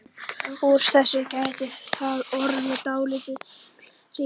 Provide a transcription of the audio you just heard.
Úr þessu gæti þá orðið dálítill hringur.